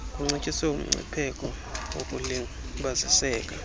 kuncitshiswe umgcipheko wokulibaziseka